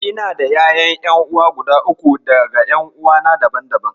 Ina da ƴaƴan ƴan'uwa guda uku daga ƴan'uwana daban-daban.